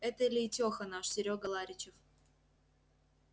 это лейтёха наш серёга ларичев